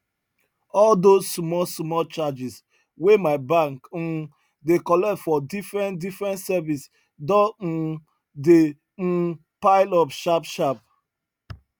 all those small small charges wey my bank um dey collect for different different service don um dey um pile up sharp sharp